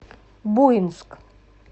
буинск